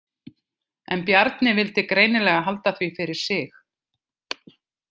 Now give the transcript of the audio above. En Bjarni vildi greinilega halda því fyrir sig.